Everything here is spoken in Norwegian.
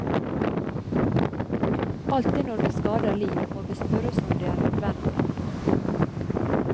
Alltid når vi skader liv, må vi spørre oss om det er nødvendig.